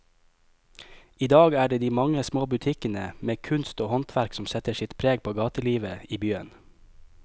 I dag er det de mange små butikkene med kunst og håndverk som setter sitt preg på gatelivet i byen.